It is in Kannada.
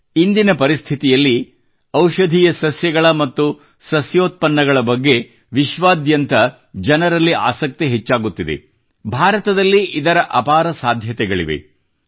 ರ ಅಪಾರ ಸಾಧ್ಯತೆಗಳಿವೆ